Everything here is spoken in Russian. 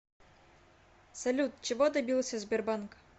салют чего добился сбербанк